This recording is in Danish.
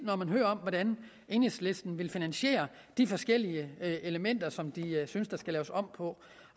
når man hører om hvordan enhedslisten vil finansiere de forskellige elementer som de synes der skal laves om på